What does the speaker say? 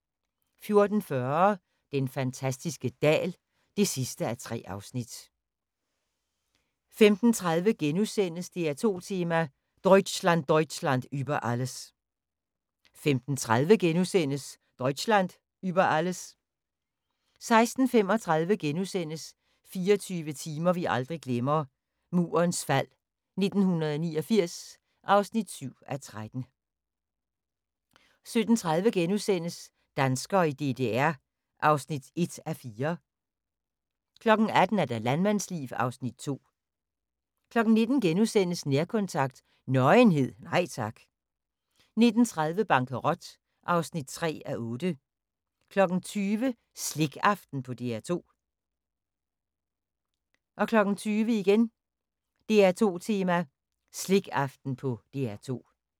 14:40: Den fantastiske dal (3:3) 15:30: DR2 Tema: Deutchland Deutchland über alles * 15:30: Deutschland über Alles * 16:35: 24 timer vi aldrig glemmer – Murens fald 1989 (7:13)* 17:30: Danskere i DDR (1:4)* 18:00: Landmandsliv (Afs. 2) 19:00: Nærkontakt – Nøgenhed, nej tak * 19:30: Bankerot (3:8) 20:00: Slikaften på DR2 20:00: DR2 Tema: Slikaften på DR2